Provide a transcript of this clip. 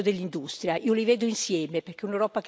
che può essere più vicina alle istanze e i bisogni.